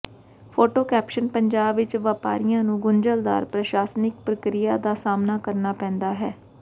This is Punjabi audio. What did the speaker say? ਫੋਟੋ ਕੈਪਸ਼ਨ ਪੰਜਾਬ ਵਿੱਚ ਵਪਾਰੀਆਂ ਨੂੰ ਗੁੰਝਲਦਾਰ ਪ੍ਰਸ਼ਾਸਨਿਕ ਪ੍ਰਕਿਰਿਆ ਦਾ ਸਾਹਮਣਾ ਕਰਨਾ ਪੈਂਦਾ ਹੈ